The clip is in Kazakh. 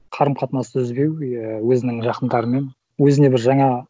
қарым қатынасты үзбеу и өзінің жақындарымен өзіне бір жаңа